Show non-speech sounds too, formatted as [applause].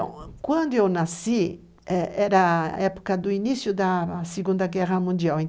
Então, quando eu nasci, era a época do início da Segunda Guerra Mundial, em. [unintelligible]